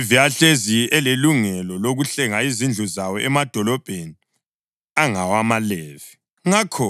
AmaLevi ahlezi elelungelo lokuhlenga izindlu zawo emadolobheni angawamaLevi.